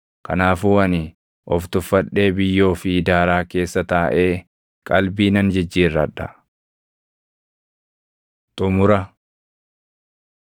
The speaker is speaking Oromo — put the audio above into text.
Kanaafuu ani of tuffadhee biyyoo fi daaraa keessa taaʼee qalbii nan jijjiirradha.” Xumura